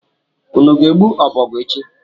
Unu ga-egbu ọbọgwụ echi?